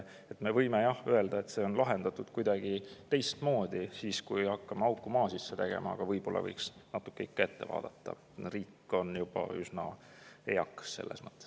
Jah, me võime öelda, et see on lahendatud kuidagi teistmoodi, kui me hakkame auku maa sisse tegema, aga ehk võiks ikka natuke ette vaadata, kuna riik on selles mõttes juba üsna eakas.